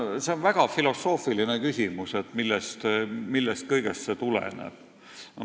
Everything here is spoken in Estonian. See on väga filosoofiline küsimus, et millest kõigest see tuleneb.